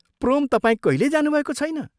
प्रोम तपाईं कहिल्यै जानुभएको छैन?